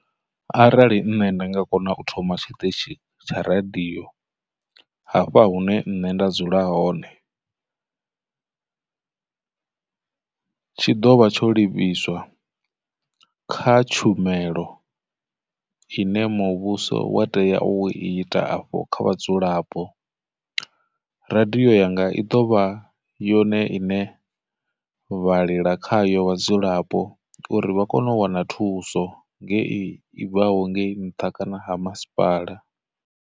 Arali nṋe nda nga kona u thoma tshiṱitshi tsha radio hafha hune nṋe nda dzula hone, tshi dovha tsho livhiswa kha tshumelo ine muvhuso wa tea u i ita afho kha vhadzulap, radiyo yanga i dovha yone iṋe vhalila khayo vhadzulapo uri vha kone u wana thuso ngei i bvaho ngei nṱha kana ha masipala.